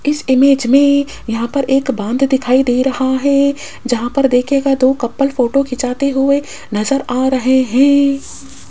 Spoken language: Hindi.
इस इमेज मे यहां पर एक बांध दिखाई दे रहा है जहाँ पर देखियेगा दो कपल फोटो खींचाते हुए नजर आ रहे हैं।